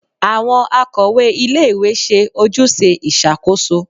Awọn akọwe ílé-ìwé ṣe ojuse iṣakoso